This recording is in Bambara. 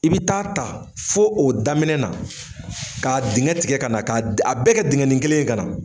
I bɛ taa ta fo o daminɛ na, k'a dingɛ tigɛ ka na, k'a a bɛɛ kɛ dingɛ ni kelen ye ka na.